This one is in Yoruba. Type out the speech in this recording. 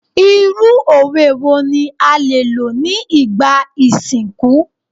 Irú òwe wo ni a lè lò ní ìgbà ìsìnkú?